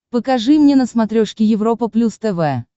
покажи мне на смотрешке европа плюс тв